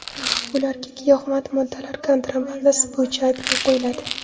Ularga giyohvand moddalar kontrabandasi bo‘yicha ayblov qo‘yiladi.